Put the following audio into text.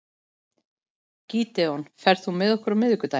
Gídeon, ferð þú með okkur á miðvikudaginn?